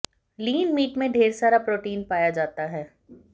लीन meat में ढेर सारा प्रोटीन पाया जाता है